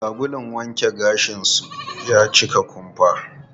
Sabulun wanke gashin su ya cika kumfa.